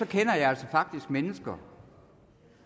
kender jeg faktisk mennesker